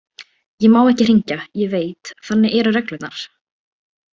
Ég má ekki hringja, ég veit, þannig eru reglurnar.